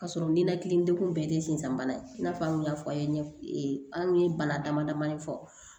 K'a sɔrɔ ninakili degun bɛɛ de ye sensanbana ye i n'a fɔ an kun y'a fɔ a ye anw ye bana damadamanin fɔ